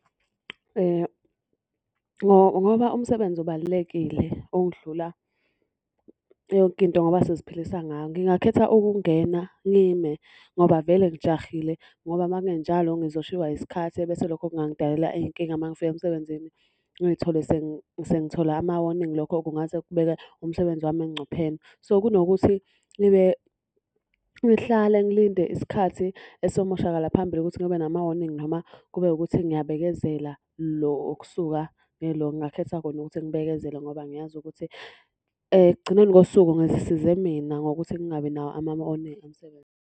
Ngoba umsebenzi ubalulekile ukudlula yonke into ngoba siziphilisa ngawo. Ngingakhetha ukungena ngime ngoba vele ngitshahile, ngoba uma kungenjalo ngizoshiywa isikhathi ebese lokho kungangidalela iy'nkinga uma ngifika emsebenzini. Ngiy'thole sengithola ama-warning, lokho kungase kubeka umsebenzi wami engcupheni. So, kunokuthi ngihlale ngilinde isikhathi esomoshakala phambili ukuthi ngibe nama-warning noma kube wukuthi ngiyabekezela. Lo wokusuka ngingakhetha khona ukuthi ngibekezele ngoba ngiyazi ukuthi ekugcineni kosuku ngizisize mina ngokuthi ngingabi nawo emsebenzini.